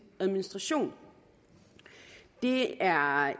administration det er